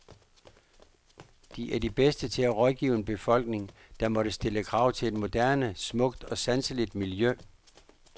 De er de bedste til at rådgive en befolkning, der måtte stille krav til et moderne, smukt og sanseligt miljø.